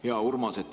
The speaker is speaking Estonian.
Hea Urmas!